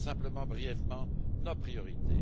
Je rappelle simplement brièvement nos priorités.